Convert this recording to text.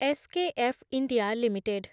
SKF India limited